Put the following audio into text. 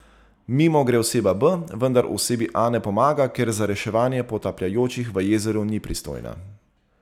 Mimo gre oseba B, vendar osebi A ne pomaga, ker za reševanje potapljajočih v jezeru ni pristojna.